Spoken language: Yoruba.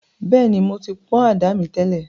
Bẹ́ẹ̀ni, mo ti pọ̀n àdá mi tẹ́lẹ̀